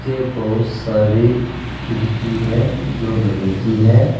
ये बहुत सारी खिड़की है जो लोहे की है।